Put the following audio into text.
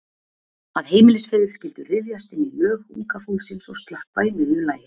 Að heimilisfeður skyldu ryðjast inn í Lög Unga Fólksins og slökkva í miðju lagi.